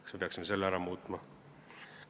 Kas me peaksime selle ära muutma?